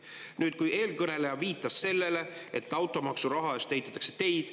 eeskõneleja viitas sellele, et automaksuraha eest ehitatakse teid.